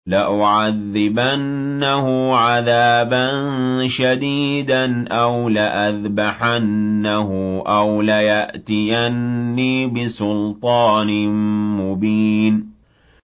لَأُعَذِّبَنَّهُ عَذَابًا شَدِيدًا أَوْ لَأَذْبَحَنَّهُ أَوْ لَيَأْتِيَنِّي بِسُلْطَانٍ مُّبِينٍ